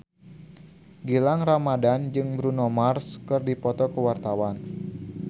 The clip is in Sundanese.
Gilang Ramadan jeung Bruno Mars keur dipoto ku wartawan